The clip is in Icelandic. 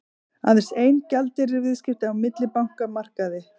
Aðeins ein gjaldeyrisviðskipti á millibankamarkaði